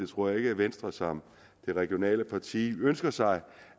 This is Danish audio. tror ikke at venstre som det regionale parti ønsker sig